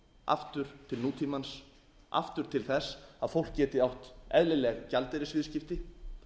aftur til nútímans aftur til þess að fólk geti átt eðlileg gjaldeyrisviðskipti